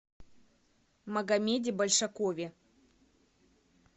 магомеде большакове